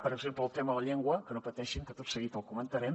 per exemple amb el tema de la llengua que no pateixin que tot seguit el comentarem